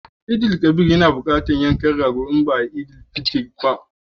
Eidul Kabir yana buƙatar yankan rago alhalin ba a yi Idil fitr ba.